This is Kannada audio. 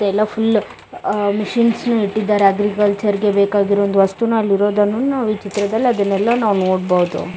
ಎಲ್ಲಾ ಫುಲ್ಲು ಆಆ ಮಿಷಿನ್ಸ್ ನು ಇಟ್ಟಿದ್ದಾರೆ ಅಗ್ರಿಕಲ್ಚರ್ ಗೆ ಬೇಕಾಗಿರೋ ಒಂದು ವಸ್ತುನು ಅಲ್ಲಿರೋದನ್ನು ನಾವು ಈ ಚಿತ್ರದಲ್ಲಿ ಅದನೆಲ್ಲಾ ನಾವು ನೋಡ್ಬೋದು.